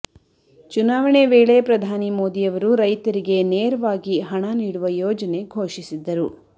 ಚುನಾವಣೆ ವೇಳೆ ಪ್ರಧಾನಿ ಮೋದಿಅವರು ರೈತರಿಗೆ ನೇರವಾಗಿ ಹಣ ನೀಡುವ ಯೋಜನೆ ಘೋಷಿಸಿದ್ದರು